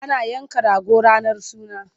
Ana yanka rago ranar suna.